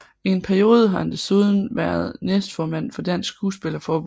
I en periode har han desuden været næstformand for Dansk Skuespillerforbund